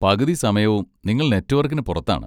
പകുതി സമയവും, നിങ്ങൾ നെറ്റ്‌വർക്കിന് പുറത്താണ്.